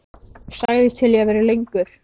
Sagðist til í að vera lengur.